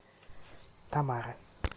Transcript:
тамара